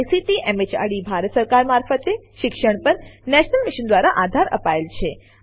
જેને ICT MHRD Bharat સરકાર મારફતે શિક્ષણ પર નેશનલ મિશન દ્વારા આધાર અપાયેલ છે